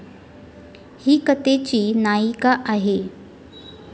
ही कथेची नायिका आहे.